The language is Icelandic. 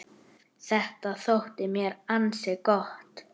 Þetta þótti mér ansi gott.